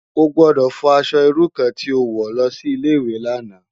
Ó gbòdò fò aṣò irú kàn ti ó wò lòsi Ilé iwé làná